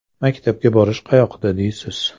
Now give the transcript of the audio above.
Maktabga borish qayoqda deysiz.